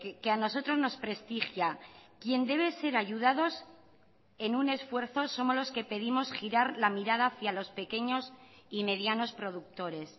que a nosotros nos prestigia quien debe ser ayudados en un esfuerzo somos los que pedimos girar la mirada hacia los pequeños y medianos productores